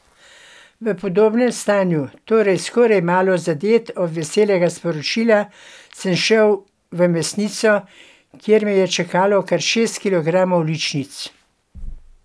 V podobnem stanju, torej skoraj malo zadet od veselega sporočila, sem šel v mesnico, kjer me je čakalo kar šest kilogramov ličnic.